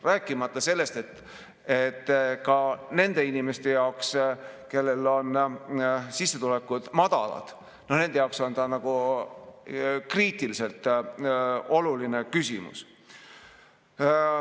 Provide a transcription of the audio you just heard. Rääkimata nendest inimestest, kelle sissetulekud on madalad, nende jaoks on see kriitiliselt oluline küsimus.